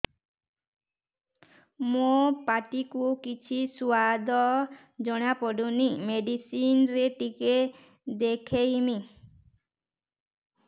ମୋ ପାଟି କୁ କିଛି ସୁଆଦ ଜଣାପଡ଼ୁନି ମେଡିସିନ ରେ ଟିକେ ଦେଖେଇମି